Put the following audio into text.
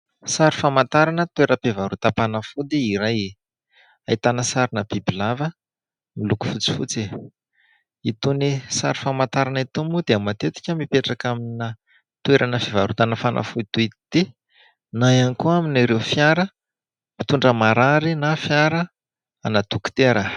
Sary famantarana toeram-pivarotam-panafody iray, ahitana sarina bibilava miloko fotsifotsy. Itony sary famantarana itony moa dia matetika mipetraka amina toerana fivarotana fanafody toy ity, na ihany koa amin' ireo fiara mpitondra marary na fiarana dokotera.